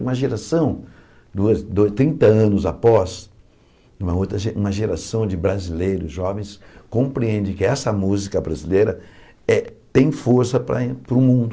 E uma geração, duas du trinta anos após, uma outra ge uma geração de brasileiros jovens compreendem que essa música brasileira eh tem força para o mundo.